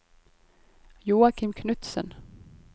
Joakim Knutsen